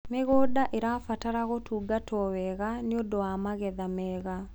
mĩgũnda irabatara gũtungatwo wega nĩũndũ wa magetha mega